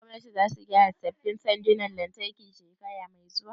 Shin gwamnatin za su saya sabbin sandonan lantarki shekara mai zuwa?